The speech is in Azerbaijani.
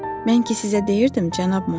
Mən ki sizə deyirdim, cənab Monyer.